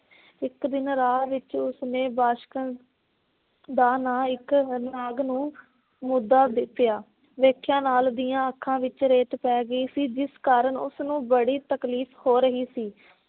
ਇਕ ਦਿਨ ਰਾਹ ਵਿੱਚ ਉਸਨੇ ਦਾ ਨਾ ਇਕ ਹਰਨਾਗ ਨੂੰ ਮੁਦਾ ਪਿਆ। ਵੇਖਿਆ ਨਾਲ ਦੀਆਂ ਅੱਖਾਂ ਵਿੱਚ ਰੇਤ ਪੈ ਗਈ ਸੀ, ਜਿਸ ਕਾਰਨ ਉਸ ਨੂੰ ਬੜੀ ਤਕਲੀਫ਼ ਹੋ ਰਹੀ ਸੀ।